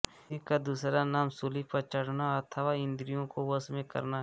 इसी का दूसरा नाम शूली पर चढ़ना अथवा इंद्रियों को वश में करना है